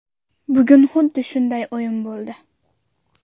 Bugun xuddi shunday o‘yin bo‘ldi.